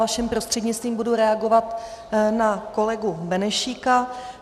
Vaším prostřednictvím budu reagovat na kolegu Benešíka.